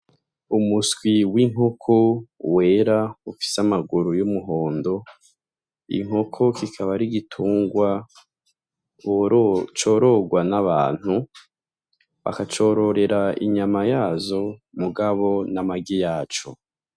Umuswi w'inkoko wera ufise amaguru y'umuhondo, inkoko kikaba ar'igitungwa corogwa n'abantu, bakacororera inyama yazo mugabo n'amagi yaco.